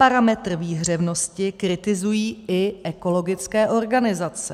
Parametr výhřevnosti kritizují i ekologické organizace.